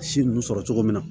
Si ninnu sɔrɔ cogo min na